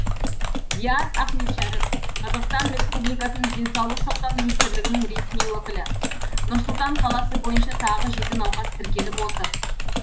диас ахметшәріп қазақстан республикасының денсаулық сақтау министрлігінің ресми өкілі нұр сұлтан қаласы бойынша тағы жеті науқас тіркеліп отыр